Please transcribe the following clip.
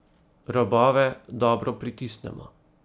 Robove dobro pritisnemo.